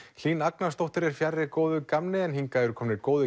Hlín Agnarsdóttir er fjarri góðu gamni en hingað eru komnir góðir